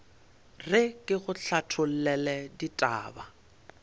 re ke go hlathollele ditaba